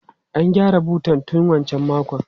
An gyara butan tun wancan makon.